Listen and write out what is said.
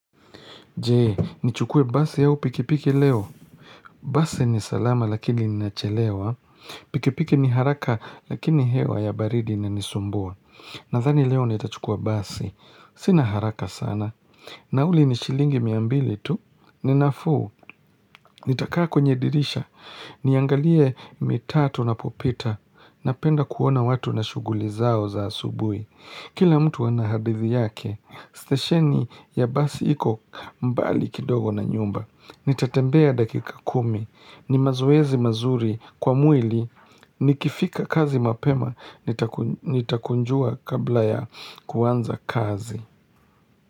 Jee, nichukue basi au pikipiki leo. Basi ni salama lakini ninachelewa. Pikipiki ni haraka lakini hewa ya baridi inanisumbua. Nadhani leo nitachukua basi. Sina haraka sana. Nauli ni shilingi miambili tu. Ni nafuu. Nitakaa kwenye dirisha. Niangalie mitatu napopita. Napenda kuona watu na shughuli zao za asubuhi. Kila mtu ana hadithi yake. Stesheni ya basi iko mbali kidogo na nyumba. Nitatembea dakika kumi. Ni mazoezi mazuri kwa mwili. Nikifika kazi mapema. Nitakunjua kabla ya kuanza kazi.